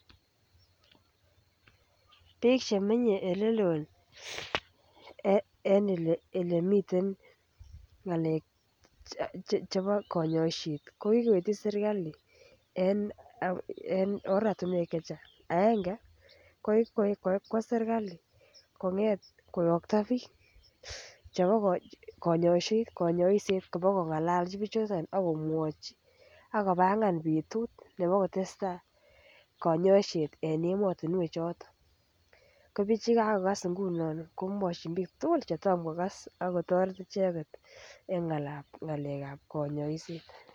Bik Che menye Olelo en Ole miten ngalek chebo kanyoiset ko kigoityi serkali en oratinwek Che Chang aenge ko kikwo serkali koyokto bik chebo kanyoiset koba koba kongolchi bichoton ak komwachi ako kobangan betut nebo kotestai kanyoiset en emotinwek choton ko bik Che kagogas inguno komwochin bik tugul Che Tom kogas ak kotoret icheget en ngalekab kanyoiset